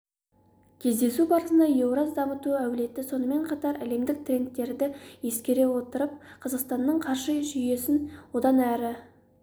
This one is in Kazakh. кездесу барысында еураз дамыту әлеуеті сонымен қатар әлемдік трендтерді ескере отырып қазақстанның қаржы жүйесін одан әрі